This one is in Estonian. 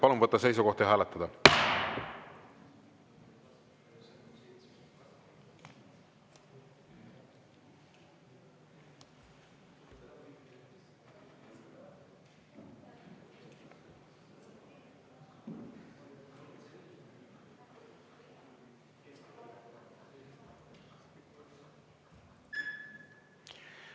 Palun võtta seisukoht ja hääletada!